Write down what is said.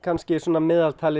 meðaltalið